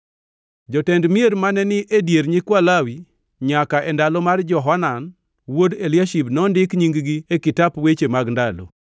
Jotend mier mane ni e dier nyikwa Lawi nyaka e ndalo mar Johanan wuod Eliashib nondik nying-gi e kitap weche mag ndalo.